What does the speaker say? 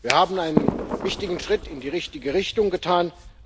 Wir haben einen wichtigen Schritt in die richtige Richtung getan.